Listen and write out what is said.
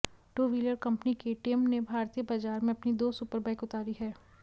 to wheeler company KTM ने भारतीय बाजार में अपनी दो सुपर बाइक उतारी है